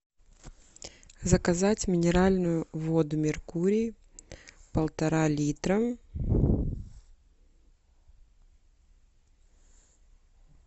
заказать минеральную воду меркурий полтора литра